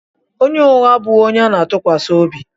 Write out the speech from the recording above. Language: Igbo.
Onye ụgha abụghị onye ana-atụkwasị obi.